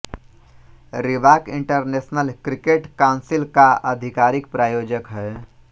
Reebok International Cricket Council का आधिकारिक प्रायोजक है